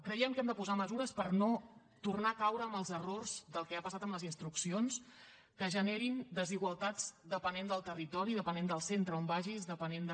creiem que hem de posar mesures per no tornar a caure en els errors del que ha passat amb les instruccions que generin desigualtats depenent del territori depenent del centre on vagis depenent de